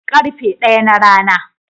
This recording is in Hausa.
Karfe ɗaya na rana.